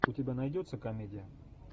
у тебя найдется комедия